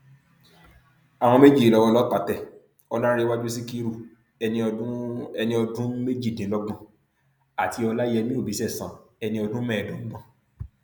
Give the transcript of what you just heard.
àwọn méjì yìí lowó ọlọpàá tẹ ọlárèwájú síkírù ẹni ọdún ẹni ọdún méjìdínlọgbọn àti ọláyẹmí obìṣẹsan ẹni ọdún mẹẹẹdọgbọn